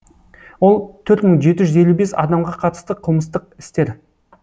ол төрт мың жеті жүз елу бес адамға қатысты қылмыстық істер